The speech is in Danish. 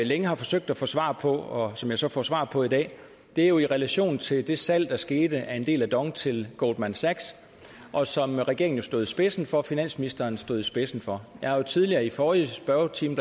længe har forsøgt at få svar på og som jeg så får svar på i dag er jo i relation til det salg der skete af en del af dong til goldman sachs og som regeringen jo stod i spidsen for finansministeren stod i spidsen for jeg har tidligere i forrige spørgetime